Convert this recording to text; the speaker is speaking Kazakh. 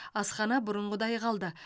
асхана бұрынғыдай қалды